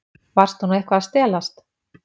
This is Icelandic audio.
Varstu nú eitthvað að stelast?